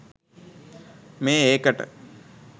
මේ ඒකට